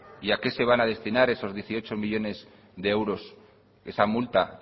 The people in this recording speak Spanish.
y a qué se van a destinar esos dieciocho millónes de euros esa multa